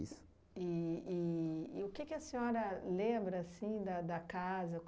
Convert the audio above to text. E e e o que que a senhora lembra assim da da casa?